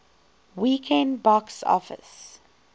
weekend box office